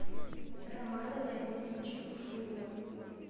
романа леонидовича бушуева